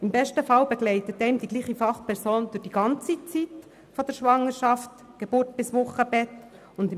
Im besten Fall wird man von derselben Fachperson durch die ganze Zeit von Schwangerschaft, Geburt und Wochenbett begleitet.